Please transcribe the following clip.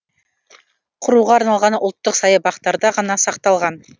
құруға арналған ұлттық саябақтарда ғана сақталған